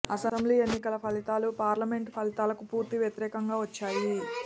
assembly ఎన్నికల ఫలితాలు parliament ఫలితాలకు పూర్తి వ్యతిరేకంగా వచ్చాయి